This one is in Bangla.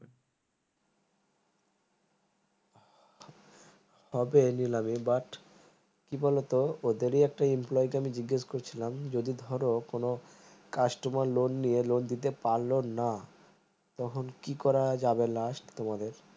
হবে নিলামি but কি বলোতো ওদের কে একটি employee আমি জিজ্ঞাসা করছিলাম যদি ধরো কোনো customer loan নিলে loan দিতে পারলো না তখন কি করা যাবে last তোমাদের